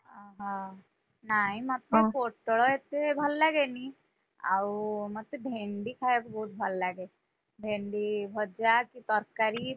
ଓହୋ, ନାଇଁ ମତେ ପୋଟଳ ଏତେ ଭଲ ଲାଗେନି, ଆଉ ମତେ ଭେଣ୍ଡି ଖାୟାକୁ ବହୁତ ଭଲ ଲାଗେ, ଭେଣ୍ଡି ଭଜା କି ତରକାରୀ,